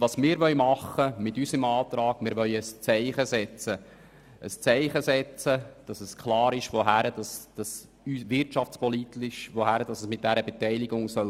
Wir wollen mit unserem Antrag ein Zeichen setzen, damit klar ist, in welche wirtschaftspolitische Richtung die Beteiligung gehen soll.